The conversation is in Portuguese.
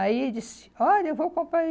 Aí, disse, olha, eu vou comprar.